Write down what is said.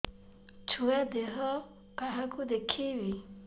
ଛୁଆ ଦେହ କାହାକୁ ଦେଖେଇବି